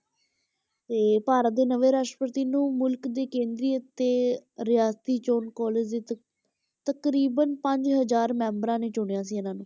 ਤੇ ਭਾਰਤ ਦੇ ਨਵੇਂ ਰਾਸ਼ਟਰਪਤੀ ਨੂੰ ਮੁਲਕ ਦੀ ਕੇਂਦਰੀ ਅਤੇ ਰਿਆਸਤੀ ਚੋਣ college ਦੇ ਤਕ~ ਤਕਰੀਬਨ ਪੰਜ ਹਜ਼ਾਰ ਮੈਂਬਰਾਂ ਨੇ ਚੁਣਿਆ ਸੀ ਇਹਨਾਂ ਨੂੰ।